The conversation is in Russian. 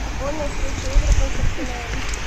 футбольная встреча эвертон с арсеналом